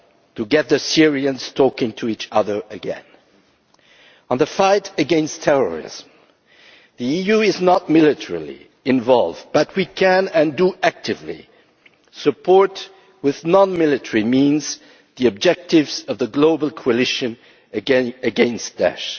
to get the Syrians talking to each other again. On the fight against terrorism the EU is not militarily involved, but we can and do actively support with non military means the objectives of the global coalition against Daesh.